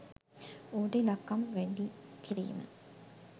ඌට ඉලක්කම් වැඩි කිරීම